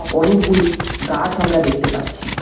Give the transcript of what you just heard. অনেকগুলি গাছ আমরা দেখতে পাচ্ছি।